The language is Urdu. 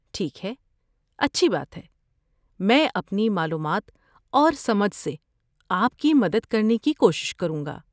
ٹھیک ہے، اچھی بات ہے۔ میں اپنی معلومات اور سمجھ سے آپ کی مدد کرنے کی کوشش کروں گا۔